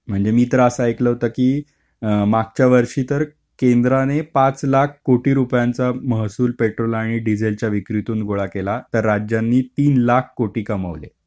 म्हणजे मी तर असा ऐकलं होतं की मागच्या वर्षी तर केंद्रांनी पाच लाख कोटी रुपयांचं महसूल पेट्रोल आणि डिझेलच्या विक्रीतून गोळा केला तर राज्याने तीन लाख कोटी कमावले.